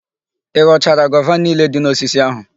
Ị ghọchara gova niile dị n'osisi áhụ̀?